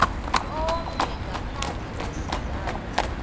omnye ngaphandle kwesizathu